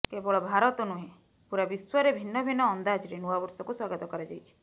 କେବଳ ଭାରତ ନୁହେଁ ପୂରା ବିଶ୍ୱରେ ଭିନ୍ନ ଭିନ୍ନ ଅନ୍ଦାଜରେ ନୂଆ ବର୍ଷକୁ ସ୍ୱାଗତ କରାଯାଇଛି